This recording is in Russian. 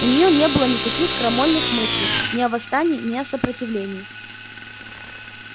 у нее не было никаких крамольных мыслей ни о восстании ни о сопротивлении